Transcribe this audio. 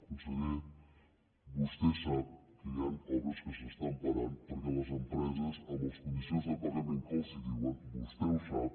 conseller vostè sap que hi han obres que s’estan parant perquè les empreses amb les condicions de pagament que els diuen vostè ho sap